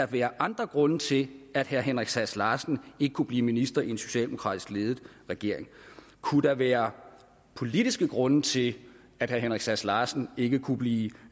være andre grunde til at herre henrik sass larsen ikke kunne blive minister i en socialdemokratisk ledet regering kunne der være politiske grunde til at herre henrik sass larsen ikke kunne blive